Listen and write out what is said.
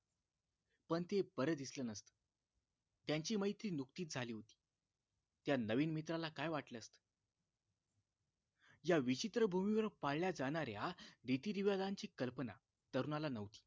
पण ते बरं दिसलं नसत त्यांची मैत्री नुकतीच झाली होती त्या नवीन मित्राला काय वाटलं असत या विचित्र भूमीवर पाळल्या जाणाऱ्या रीतिरिवांजाची कल्पना तरुणाला न्हवती